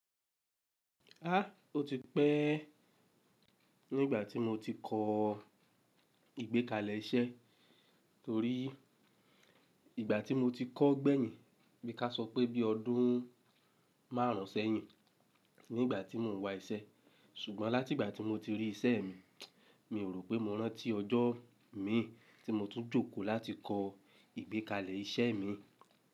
Áà ó ti pẹ́ nígbà tí mo ti kọ ìgbékalẹ̀ iṣẹ́ torí ìgbà tí mo ti kọ́ gbẹ̀yìn bí ka sọ pé bí ọdún márùn sẹ́yìn nígbà tí mò ń wa iṣẹ́. Ṣùgbọ́n láti ìgbà tí mo ti rí isẹ́ mi, mi ò rò pé mo rántí ọjọ́ mi tí mo tún jókòó láti kọ ìgbékalẹ̀ iṣẹ́ mi.